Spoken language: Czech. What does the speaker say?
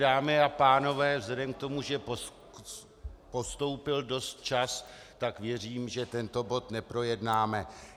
Dámy a pánové, vzhledem k tomu, že postoupil dost čas, tak věřím, že tento bod neprojednáme.